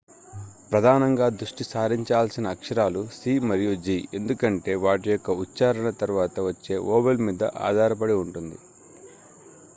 ప్రధానంగా దృష్టి సారించాల్సిన అక్షరాలు c మరియు g ఎందుకంటే వాటి యొక్క ఉచ్ఛారణ తర్వాత వచ్చే వొవెల్ మీద ఆధారపడి ఉంటుంది